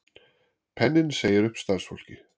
Penninn segir upp starfsfólki